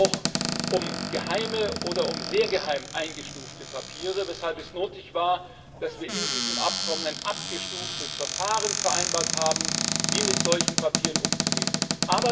Es geht auch um geheime oder als sehr geheim eingestufte Papiere, weshalb es nötig war, dass wir in diesem Abkommen ein abgestuftes Verfahren vereinbart haben, wie mit solchen Papieren umzugehen ist.